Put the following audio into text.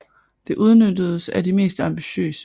Det udnyttedes af de mest ambitiøse